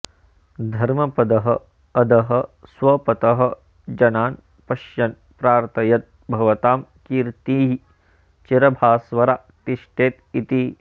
धर्मपदः अधः स्वपतः जनान् पश्यन् प्रार्थयत भवतां कीर्तिः चिरभास्वरा तिष्ठेत् इति